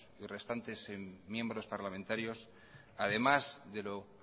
y restantes miembros parlamentarios además de lo